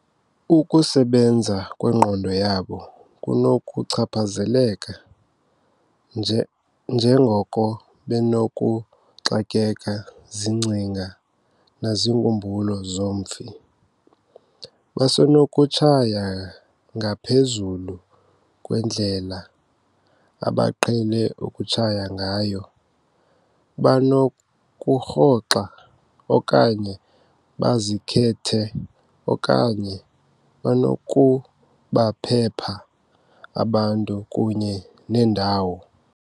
Ukusebenza kwengqondo yabo kunokuchaphazeleka, njengoko benokuxakeka ziingcinga naziinkumbulo zomfi. "Basenokutshaya ngaphezulu kwendlela abaqhele ukutshaya ngayo, banokurhoxa okanye bazikhethe okanye banokubaphepha abantu kunye neendawo."